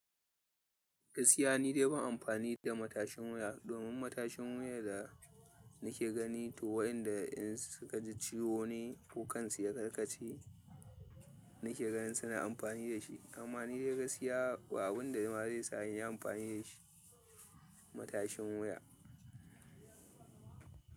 Gaskiya ni dai ban amfani da matashin wuya domin matashin wuya da nake gani to wayanda in suka ji ciwo ne, ko kansu ya karkace. Nake ganin suna amfani da shi amma ni dai gaskiya abun da ma zai sa in yi amfani da shi, matashin wuya.